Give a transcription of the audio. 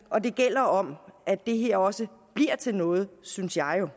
og det gælder om at det her også bliver til noget synes jeg jo